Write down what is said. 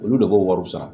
Olu de b'o wariw sara